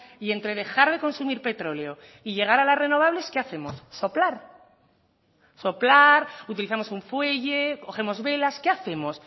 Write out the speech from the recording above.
y entre dejar de consumir petróleo y llegar a las renovables qué hacemos soplar soplar utilizamos un fuelle cogemos velas qué hacemos